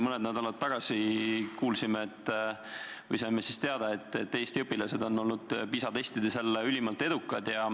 Mõni nädal tagasi kuulsime või saime teada, et Eesti õpilased on olnud PISA testides jälle ülimalt edukad.